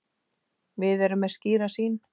Við erum með skýra sýn.